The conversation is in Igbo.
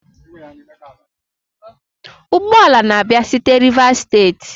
ụgbọ ala na-abịa site Rivers state?